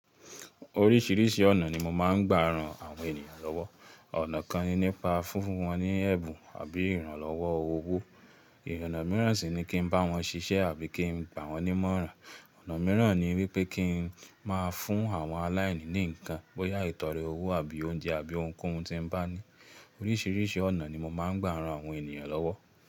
Oríṣìíríṣìí ọ̀nà ni mo máa ń gbà ran àwọn ènìyàn lọ́wọ́. Ọ̀nà kan ni nípa fúnfún wọn ní ẹ̀bùn àbí ìrànlọ́wọ́ owó. Ì ọ̀nà mìíràn sì ni kí n bá wọn ṣiṣẹ́ àbí kí n gbà wọ́n nímọ̀ràn. Ọ̀nà mìíràn ni wípé kí n máa fún àwọn aláìní ní ǹkan bóyá ìtọ̀re owó àbí oúnjẹ àbí ohunkóhun tí n bá ní. Oríṣìíríṣìí ọ̀nà ni mo máa ń gbà ran àwọn ènìyàn lọ́wọ́.